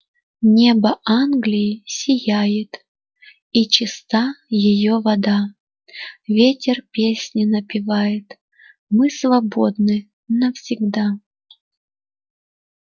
небо англии сияет и чиста её вода ветер песни напевает мы свободны навсегда